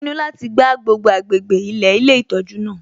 Ó pinnu láti gbá gbogbo agbègbè ilẹ̀ ilé ìtọ́jú náà